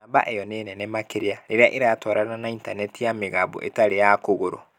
Namba ĩyo nĩ nene makĩria rĩrĩa ĩratwarana na intaneti ya mĩgambo ĩtarĩ ya kũgũrũ.